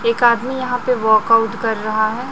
एक आदमी यहां पे वाकआउट कर रहा है।